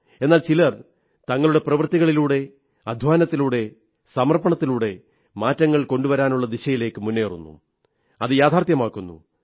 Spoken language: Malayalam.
എന്നാൽ ചിലർ തങ്ങളുടെ പ്രവൃത്തികളിലൂടെ അധ്വാനത്തിലൂടെ സമർപ്പണത്തിലൂടെ മാറ്റങ്ങൾ കൊണ്ടുവരാനുള്ള ദിശയിലേക്ക് മുന്നേറുന്നു അത് യാഥാർഥ്യമാക്കുന്നു